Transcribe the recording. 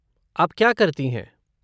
आप क्या करती हैं?